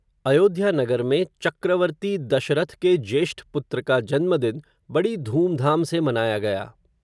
अयोध्या नगर में, चक्रवर्ती दशरथ के ज्येष्ठ पुत्र का जन्म दिन, बड़ी धूमधाम से मनाया गया